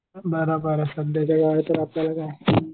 बरोबर आहे सध्याच्या या